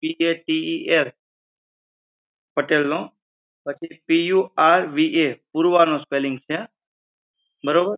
P A T E L Patel નો, P U R V A Purva નો spelling છે બરોબર